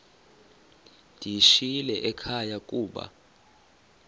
ndiyishiyile ekhaya koba